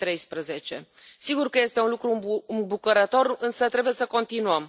2013. Sigur că este un lucru îmbucurător, însă trebuie să continuăm.